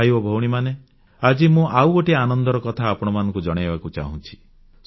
ଭାଇ ଓ ଭଉଣୀମାନେ ଆଜି ମୁଁ ଆଉ ଗୋଟିଏ ଆନନ୍ଦର କଥା ଆପଣମାନଙ୍କୁ ଜଣାଇବାକୁ ଚାହୁଁଛି